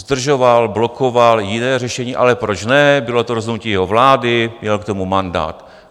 Zdržoval, blokoval jiné řešení, ale proč ne?, bylo to rozhodnutí jeho vlády, měl k tomu mandát.